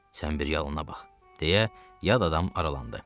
“Sən bir yanına bax!” deyə yad adam aralandı.